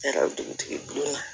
Ne yɛrɛ dugutigi bulon na